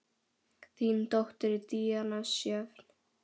Þín dóttir, Díana Sjöfn.